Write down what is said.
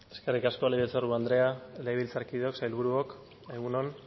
eskerrik asko legebiltzarburu andrea legebiltzarkideok sailburuok egun on